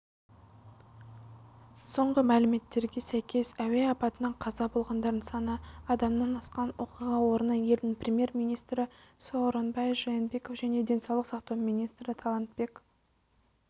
соңғы мәліметтерге сәйкес әуе апатынан қаза болғандардың саны адамнан асқан оқиға орнына елдің премьер-министрі сооронбай жээнбеков және денсаулық сақтау министрі талантбек